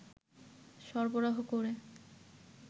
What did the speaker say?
সরবরাহ করে